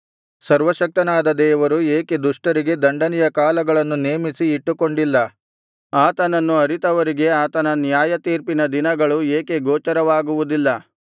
ಸರ್ವಶಕ್ತನಾದ ದೇವರು ಏಕೆ ದುಷ್ಟರಿಗೆ ದಂಡನೆಯ ಕಾಲಗಳನ್ನು ನೇಮಿಸಿ ಇಟ್ಟುಕೊಂಡಿಲ್ಲ ಆತನನ್ನು ಅರಿತವರಿಗೆ ಆತನ ನ್ಯಾಯತೀರ್ಪಿನ ದಿನಗಳು ಏಕೆ ಗೋಚರವಾಗುವುದಿಲ್ಲ